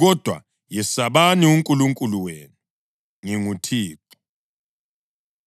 kodwa yesabani uNkulunkulu wenu. NginguThixo.